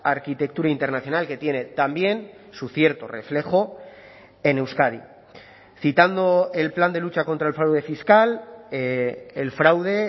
arquitectura internacional que tiene también su cierto reflejo en euskadi citando el plan de lucha contra el fraude fiscal el fraude